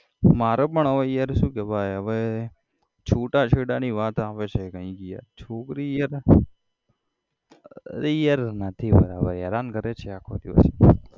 મારે પણ હવે યાર શું કેવાય હવે છુટાછેડાની વાત આવે છે કઈક યાર છોકરી યાર અરે યાર નથી બરાબર હેરાન કરે છે આખો દિવસ.